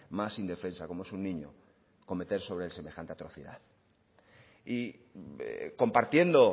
más indefensa como es un niño cometer sobre él semejante atrocidad y compartiendo